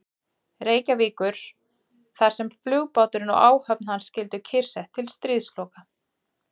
Reykjavíkur, þar sem flugbáturinn og áhöfn hans skyldu kyrrsett til stríðsloka.